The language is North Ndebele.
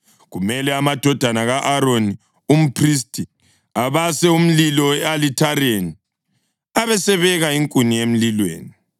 Kumele amadodana ka-Aroni umphristi abase umlilo e-alithareni, abesebeka inkuni emlilweni.